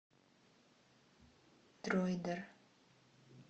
дроидер